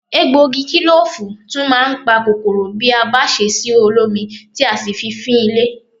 Egbògi kílòfù tún máa ń pa kòkòrò bí a bá ṣe sí olómi tí a sì fi fín ilé